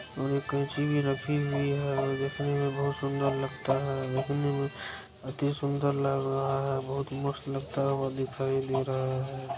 और कई चीज़ भी रखी हुई है देखने में बहुत सुंदर लगता है । देखने में अति सुंदर लग रहा है बोहोत मस्त लगता हुआ दिखाई दे रहा है ।